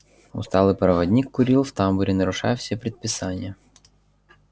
усталый проводник курил в тамбуре нарушая все предписания